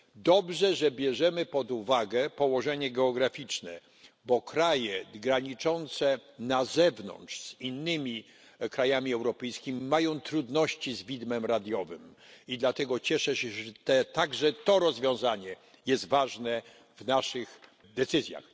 Dobrze, że bierzemy pod uwagę położenie geograficzne, bo kraje graniczące na zewnątrz z innymi krajami europejskimi mają trudności z widmem radiowym, i dlatego cieszę się, że także to rozwiązanie znalazło się w naszych decyzjach.